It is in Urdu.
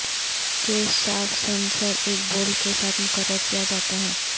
کیششافت سینسر ایک بولٹ کے ساتھ مقرر کیا جاتا ہے